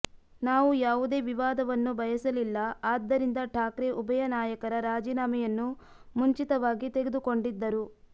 ನಾವು ಯಾವುದೇ ವಿವಾದವನ್ನು ಬಯಸಲಿಲ್ಲ ಆದ್ದರಿಂದ ಠಾಕ್ರೆ ಉಭಯ ನಾಯಕರ ರಾಜೀನಾಮೆಯನ್ನು ಮುಂಚಿತವಾಗಿ ತೆಗೆದುಕೊಂಡಿದ್ದರು